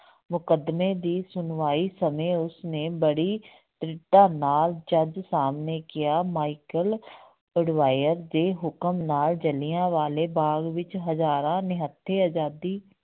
ਮੁਕੱਦਮੇ ਦੀ ਸੁਣਵਾਈ ਸਮੇਂ ਉਸਨੇ ਬੜੀ ਦ੍ਰਿੜਤਾ ਨਾਲ ਜੱਜ ਸਾਹਮਣੇ ਕਿਹਾ ਮਾਇਕਲ ਉਡਵਾਇਰ ਦੇ ਹੁਕਮ ਨਾਲ ਜਿਲ੍ਹਿਆਂ ਵਾਲੇ ਬਾਗ਼ ਵਿੱਚ ਹਜ਼ਾਰਾਂ ਨਿਹੱਥੇ ਆਜ਼ਾਦੀ